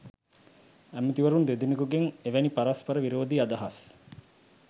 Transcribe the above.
ඇමැතිවරුන් දෙදෙනකුගෙන් එවැනි පරස්පර විරෝධී අදහස්